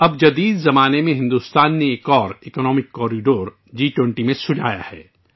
اب جدید دور میں بھارت نے جی 20 میں ایک اور اقتصادی راہداری کی تجویز دی ہے